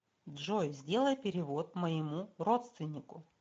джой сделай перевод моему родственнику